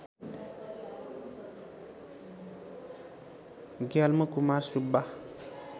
Gyalmo Kumar Subba